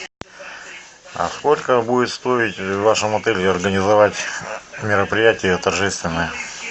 а сколько будет стоить в вашем отеле организовать мероприятие торжественное